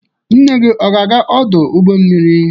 Nne gị aga-aga ọdụ ụgbọ mmiri?